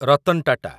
Ratan Tata